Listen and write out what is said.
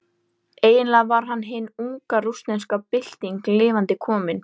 Eiginlega var hann hin unga rússneska bylting lifandi komin.